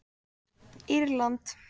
Írland